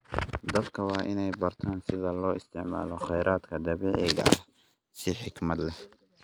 Dadka waa in ay bartaan sida loo isticmaalo khayraadka dabiiciga ah si xikmad leh.